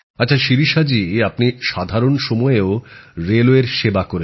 আচ্ছা শিরিষা জি আপনি সাধারণ সময়েও রেলওয়ের সেবা করেছেন